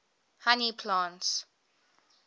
honey plants